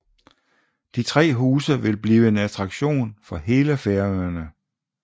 De tre huse vil blive en attraktion for hele Færøerne